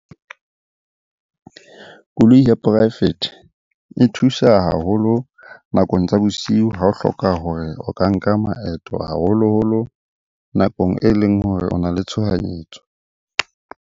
Koloi ya poraefete e thusa haholo nakong tsa bosiu ha o hloka hore o ka nka maeto, haholoholo nakong e leng hore o na le tshohanyetso.